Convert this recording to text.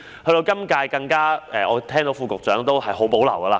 到了現屆政府，我聽到副局長對此很有保留。